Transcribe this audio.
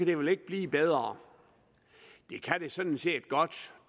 det vel ikke blive bedre det kan sådan set godt